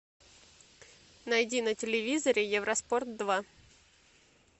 найди на телевизоре евроспорт два